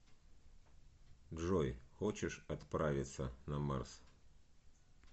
джой хочешь отправиться на марс